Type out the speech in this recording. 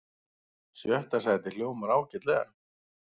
Sjötta sætið hljómar ágætlega